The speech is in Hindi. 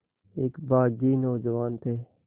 एक बाग़ी नौजवान थे